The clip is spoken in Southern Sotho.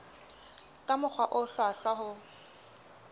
ka mokgwa o hlwahlwa ho